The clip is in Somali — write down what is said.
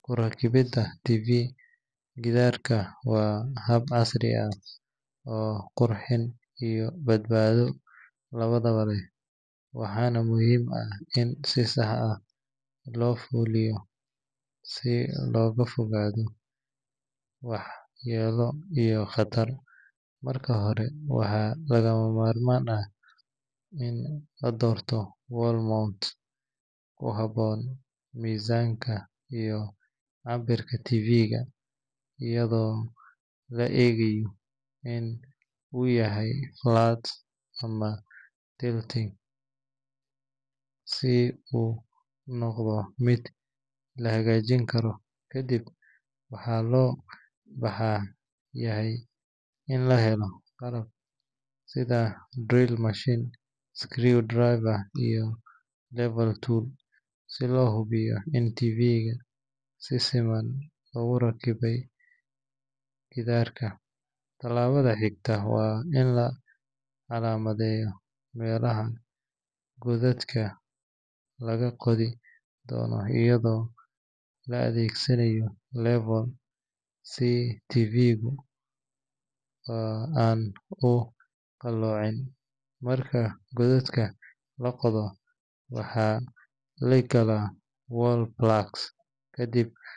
Ku rakibida TV gidaarka waa hab casri ah oo qurxin iyo badbaado labadaba leh, waxaana muhiim ah in si sax ah loo fuliyo si looga fogaado waxyeello iyo khatar. Marka hore, waxaa lagama maarmaan ah in la doorto wall mount ku habboon miisaanka iyo cabbirka TV-ga, iyadoo la eegayo in uu yahay flat ama tilting si uu u noqdo mid la hagaajin karo. Kadib, waxaa loo baahan yahay in la helo qalab sida drill machine, screwdriver, iyo level tool si loo hubiyo in TV-ga si siman loogu rakibayo gidaarka. Tallaabada xigta waa in la calaamadeeyo meelaha godadka laga qodi doono iyadoo la adeegsanayo level si TV-gu aan u qalloocin. Marka godadka la qodo, waxaa la galaa wall plugs kadib.